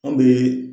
An bɛ